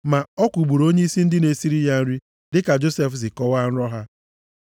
Ma ọ kwụgburu onyeisi ndị na-esiri ya nri, dịka Josef si kọwaa nrọ ha.